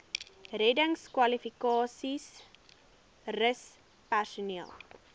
reddingskwalifikasies rus personeel